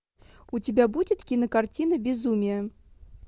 у тебя будет кинокартина безумие